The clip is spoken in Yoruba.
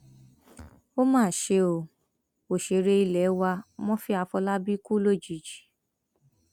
ó mà ṣe o òṣèré ilé wa murphy afolábí kú lójijì